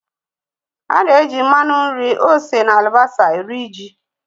Ana-eji mmanụ nri, ose na alibasá eri ji